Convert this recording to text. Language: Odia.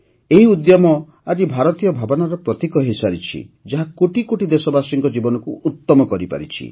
ଏହି ଉଦ୍ୟମ ଆଜି ଜାତୀୟ ଭାବନାର ପ୍ରତୀକ ହୋଇସାରିଛି ଯାହା କୋଟି କୋଟି ଦେଶବାସୀଙ୍କ ଜୀବନକୁ ଉତ୍ତମ କରିପାରିଛି